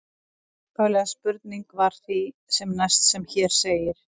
Upphafleg spurning var því sem næst sem hér segir: